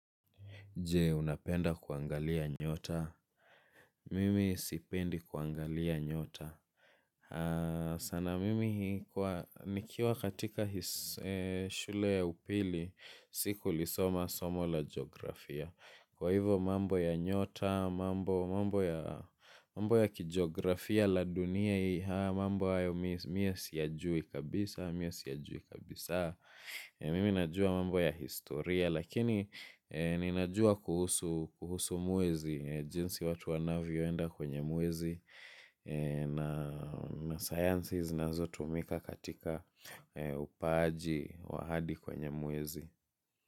Je, unapenda kuangalia nyota? Mimi sipendi kuangalia nyota. Sana mimi nikiwa katika shule ya upili, sikulisoma somo la geografia. Kwa hivyo mambo ya nyota, mambo ya kigeografia la dunia, mambo ya mimi siyajui kabisa, mimj siyajui kabisa. Mimi najua mambo ya historia lakini ninajua kuhusu mwezi jinsi watu wanavyoenda kwenye mwezi na sciences zinazotumika katika upaaji wa hadi kwenye mwezi.